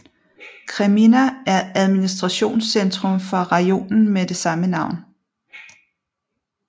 Kreminna er administrationscentrum for Rajonen med det samme navn